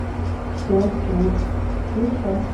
шпионский мост включай